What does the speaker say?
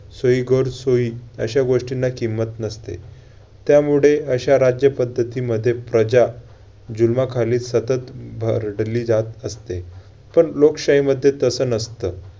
सोयीगैरसोयी अशा गोष्टींना किंमत नसते. त्यामुळे अशा राज्यपद्धतीमध्ये प्रजा जुलुमाखाली सतत भरडली जात असते. पण लोकशाहीमध्ये तसं नसतं